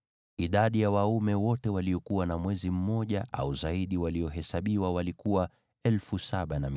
Idadi ya waume wote waliokuwa na mwezi mmoja au zaidi waliohesabiwa walikuwa 7,500.